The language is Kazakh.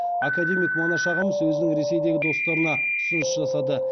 академик манаш ағамыз өзінің ресейдегі достарына ұсыныс жасады